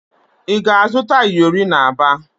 Ị ga-azụta iyori n'Aba?